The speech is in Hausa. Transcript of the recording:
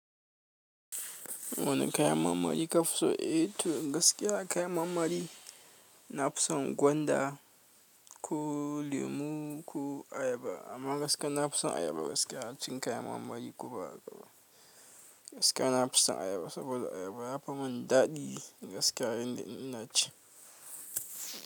Wane kayan marmari ka fi so? Eh to gaskiya kayan marmari na fi son gwanda ko lemu ko ayaba amma gaskiya na fi son ayaba gaskiya acin kayan marmari ko ba haka ba gaskiya na fi son ayaba saboda ayaba yafi mun daɗi gaskiya yanda ina ci.